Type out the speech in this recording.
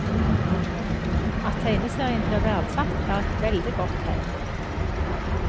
At tegneserien blir verdsatt, er et veldig godt tegn.